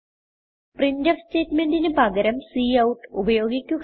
printf സ്റ്റേറ്റ്മെന്റിന് പകരം cout ഉപയോഗിക്കുക